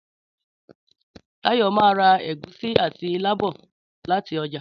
Táyọ̀ máa ra ègúsí àti ilá bọ̀ láti ọjà